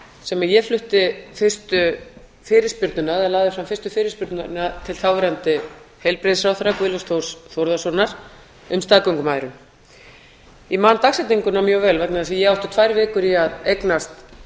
sem ég flutti fyrstu fyrirspurnina eða lagði fram fyrstu fyrirspurnina til þáverandi heilbrigðisráðherra guðlaugs þórs þórðarsonar um staðgöngumæðrun ég man dagsetninguna mjög vel vegna þess að ég átti tvær vikur í að eignast